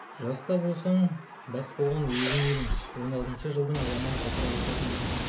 жас та болсаң бас болған өзін едің он алтыншы жылдың аламан ғасыр алапатында